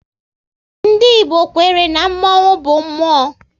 Ndị Igbo kwere na mmonwu bụ mmụọ